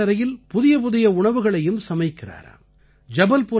மேலும் சமையலறையில் புதிய புதிய உணவுகளையும் சமைக்கிறாராம்